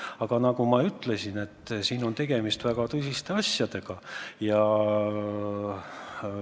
Aga nagu ma ütlesin, tegemist on väga tõsiste asjadega.